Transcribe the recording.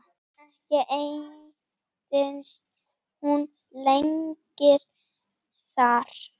Ekki entist hún lengi þar.